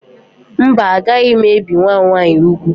Mba, agaghị m ebi nwa m nwaanyị úgwù